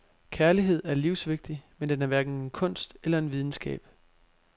Kærlighed er livsvigtig, men den er hverken en kunst eller en videnskab.